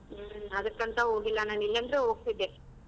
ಹ್ಮ್ ಅದಕ್ಕಂತ ಹೋಗಿಲ್ಲ ನಾನ್ ಇಲ್ಲಾಂದ್ರೆ ಹೋಗ್ತಿದ್ದೆ .